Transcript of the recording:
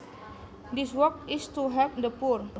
This work is to help the poor